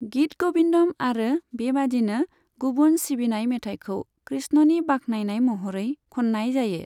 गीत ग'बिन्दम आरो बेबायदिनो गुबुन सिबिनाय मेथाइखौ कृष्णनि बाख्नायनाय महरै खननाय जायो।